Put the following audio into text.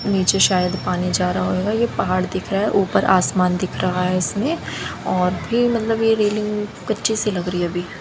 नीचे शायद पानी जा रहा होगा ये पहाड़ दिख रहा है ऊपर आसमान दिख रहा है इसमें और भी मतलब ये रेलिंग कच्ची सी लग रही है अभी--